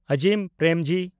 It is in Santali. ᱟᱡᱤᱢ ᱯᱨᱮᱢᱡᱤ